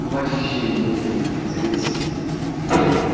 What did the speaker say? ну вообще нехуя не спится есть